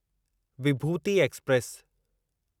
विभूती express